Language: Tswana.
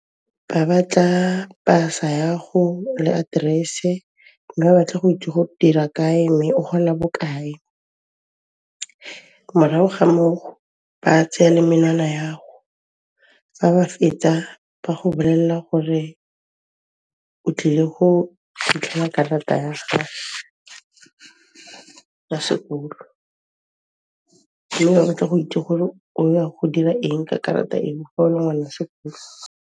Ba batla pasa ya'go le address-e, mme ba batla go itse go dira kae mme o gola bokae. Morago ga moo ba tseya le menwana ya'go, fa ba fetsa ba go bolelela gore o tlile go fitlhela karata ya gago ya sekolo le gone ke go itse gore o ya go dira eng ka karata eo fa o le ngwan'a sekolo.